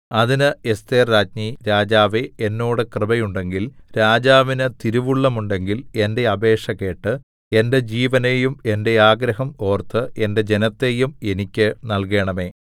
അതിന് എസ്ഥേർരാജ്ഞി രാജാവേ എന്നോട് കൃപയുണ്ടെങ്കിൽ രാജാവിന് തിരുവുള്ളമുണ്ടെങ്കിൽ എന്റെ അപേക്ഷ കേട്ട് എന്റെ ജീവനെയും എന്റെ ആഗ്രഹം ഓർത്ത് എന്റെ ജനത്തെയും എനിക്ക് നല്കേണമേ